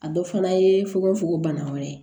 A dɔ fana ye fugofugo bana wɛrɛ ye